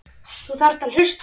Þú þarft að hlusta.